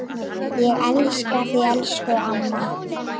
Ég elska þig, elsku amma.